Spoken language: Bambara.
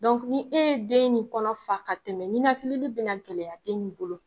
Dɔnku ni e ye den nin kɔnɔ fa ka tɛmɛ ɲinakilili bena gɛlɛya den nin bolo